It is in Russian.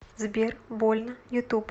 сбер больно ютуб